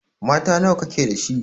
Mata nawa ka ke da shi?